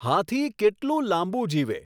હાથી કેટલું લાંબુ જીવે